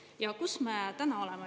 Ja kus me täna oleme?